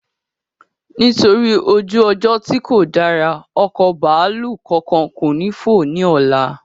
Nítorí ojú ọjọ́ tí kò dára, ọkọ̀ bàálù kánkán ko ni fo ni ọlá